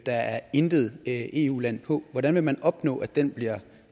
er intet eu land på hvordan vil man opnå at den bliver